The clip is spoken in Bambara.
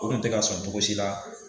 O Kun te ka sɔn togosi la